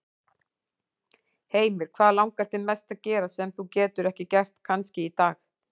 Heimir: Hvað langar þig mest að gera, sem þú getur ekki gert kannski í dag?